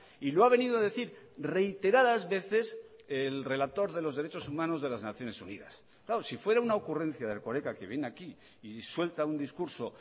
y lo ha venido a decir reiteradas veces el relator de los derechos humanos de las naciones unidas claro si fuera una ocurrencia de erkoreka que viene aquí y suelta un discurso